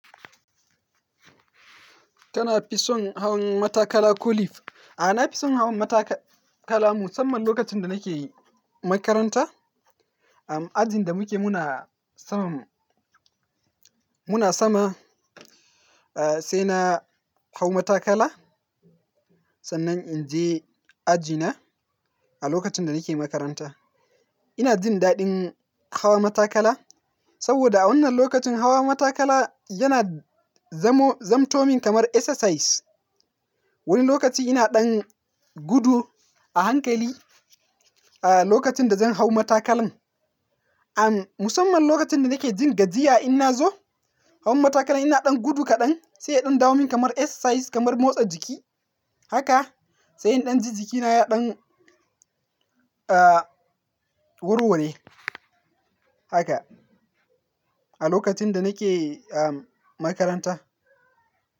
Tana fi son hawan matakala ko lift. A'a, na fi son hawan matakala musamman lokacin da nake makaranta. A ajin da muke muna sama, muna sama, eh, sai na hau matakala. Sannan in je ajina a lokacin da nake makaranta. Ina jin daɗin hawa matakala saboda a wannan lokacin hawa matakala yana zammo-- zamto min kamar exercise. Wani lokaci ina ɗan gudu a hankali, eh, lokacin da zan hau matakalan. An musamman lokacin da nake jin gajiya, in na zo hawan matakala ina ɗan gudu kaɗan sai in ɗan damu min kamar exercise, kamar motsa jiki. Haka sai in ɗan ji jikina ya ɗan, eh, warware. Haka a lokacin da nake, amm, makaranta.